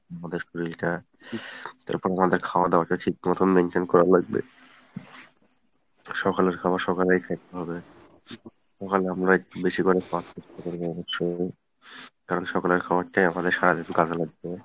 আমাদের শরীলটা আমাদের খাওয়াদাওয়া টা ঠিকমতন maintain করা লাগবে সকালের খাবার সকালেই খাইতে হবে সকালে আমরা একটু বেশি করে কারণ সকালের খাবারটাই আমাদের সারাদিন কাজে লাগবে